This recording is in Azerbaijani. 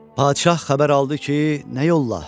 Padişah xəbər aldı ki, nə yolla?